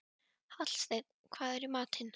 Hallsteinn, hvað er í matinn?